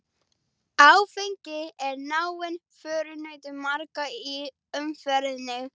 Áfengi er náinn förunautur margra í umferðinni.